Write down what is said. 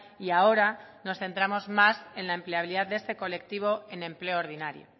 y ahora nos centramos más en la empleabilidad de este colectivo en empleo ordinario